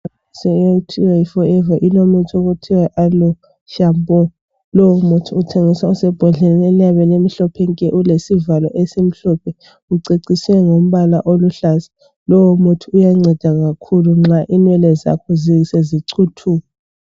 Inhlanganiso okuthiwa yi Forever ilomuthi okuthiwa yi Aloe shampoo. Lowu muthi uthengiswa usembodleleni eliyabe limhlophe nke ulesivalo esimhlophe uceciswe ngamabala oluhlaza. Lowu muthi uyanceda kakhulu nxa inwele zakho sezicuthuka.